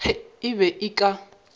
ge e be e ka